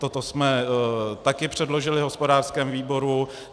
Toto jsme taky předložili hospodářskému výboru.